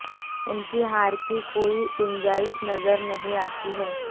उनकी हार की कोई गुंजाइश नजर नहीं आती है